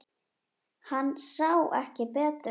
Hann sá ekki betur.